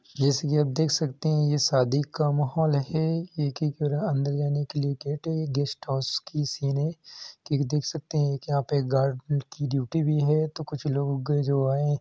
जैसे कि आप देख सकते हैं ये शादी का माहौल है एक ही तरह अंदर जाने के लिए गेट है। गेस्ट हाउस की सीन है कि देख सकते हैं यहां पे गार्ड की ड्यूटी भी है तो कुछ लोग जो आए --